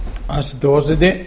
hæstvirtur forseti